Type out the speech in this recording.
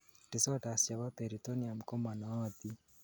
disorders chebo peritoneum komo nootin